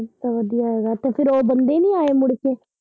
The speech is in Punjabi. ਅੱਛਾ ਵਧੀਆ ਹੋਗਿਆ ਤੇ ਫਿਰ ਉਹ ਦਿੰਦੇ ਨੀ ਆ ਉਹ ਮੁੜਕੇ।